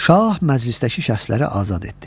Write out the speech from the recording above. Şah məclisdəki şəxsləri azad etdi.